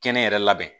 Kɛnɛ yɛrɛ labɛn